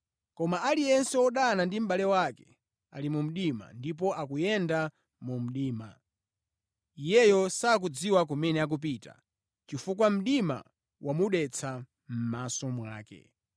Koma aliyense wodana ndi mʼbale wake ali mu mdima ndipo akuyenda mu mdima. Iyeyo sakudziwa kumene akupita, chifukwa mdima wamudetsa mʼmaso mwake.